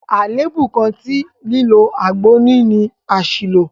Àlèébú kan tí lílo àgbo ní ni àṣìlò.